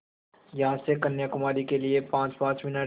यहाँ से कन्याकुमारी के लिए पाँचपाँच मिनट